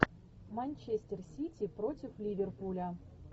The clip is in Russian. манчестер сити против ливерпуля